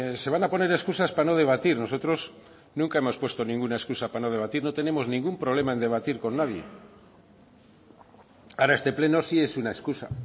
se van a poner escusas para no debatir nosotros nunca hemos puesto ninguna escusa para no debatir no tenemos ningún problema en debatir con nadie ahora este pleno sí es una escusa